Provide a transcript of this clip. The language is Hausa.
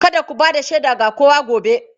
Kada ku ba da shaida ga kowa gobe!